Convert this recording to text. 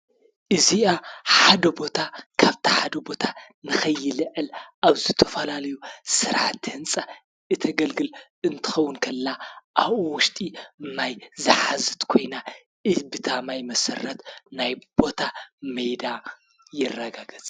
እዚኣ ሓደ ቦታ ካፍቲ ሓደ ቦታ ንከይልዕል ኣብ ዝተፈላለዩ ስራሕቲ ህንፃ እተገልግል እንትከዉን ከላ ኣዉኡ ዉሽጢ ማይ ዝሓዘት ኮይና ኢ ባታ ማይ መሰረት ናይ ቦታ ሜዳ ይረጋገፅ፡፡